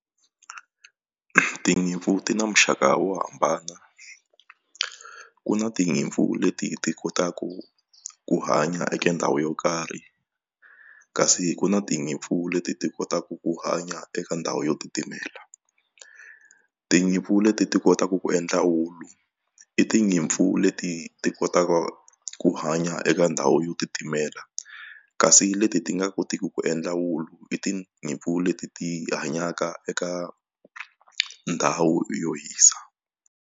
Tinyimpfu ti na muxaka wo hambana ku na tinyimpfu leti ti kotaka ku hanya eka ndhawu yo karhi kasi ku na tinyimpfu leti ti kotaka ku hanya eka ndhawu yo titimela tinyimpfu leti ti kotaka ku endla wulu i tinyimpfu leti ti kotaka ku hanya eka ndhawu yo titimela kasi leti ti nga kotiki ku endla wulu i tinyimpfu leti ti hanyaka eka ndhawu yo hisa.